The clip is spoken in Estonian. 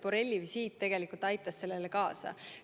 Borrelli visiit tegelikult aitas sellele kaasa.